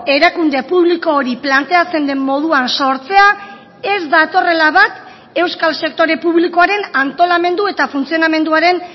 erakunde publiko hori planteatzen den moduan sortzea ez datorrela bat euskal sektore publikoaren antolamendu eta funtzionamenduaren